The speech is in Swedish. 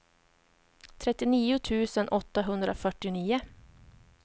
trettionio tusen åttahundrafyrtionio